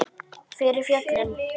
Fyrir föllin